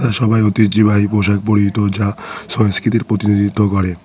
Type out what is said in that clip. সবাই ঐতিহ্যিবাহি পোশাক পরিহিত যা সংস্কৃতির প্রতিনিধিত্ব করে।